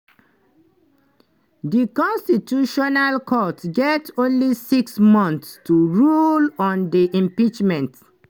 di constitutional court get only six months to rule on di impeachment.